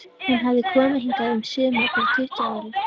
Hún hafði komið hingað um sumar fyrir tuttugu árum.